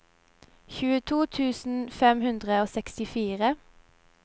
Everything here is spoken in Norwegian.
tjueto tusen fem hundre og sekstifire